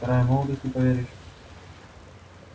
вторая молодость не поверишь